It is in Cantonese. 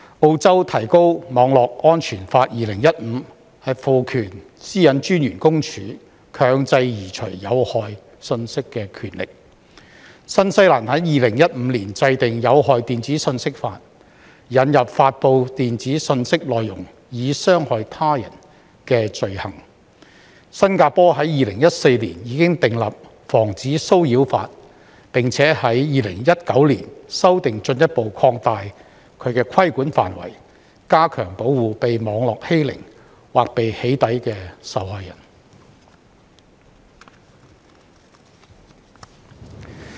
澳洲《提高網絡安全法2015》賦權私隱專員公署強制移除有害信息的權力；新西蘭在2015年制定《有害電子信息法》，引入"發布電子信息內容以傷害他人"的罪行；新加坡在2014年已訂立《防止騷擾法》，並在2019年修訂，進一步擴大規管範圍，加強保護被網絡欺凌或被"起底"的受害人。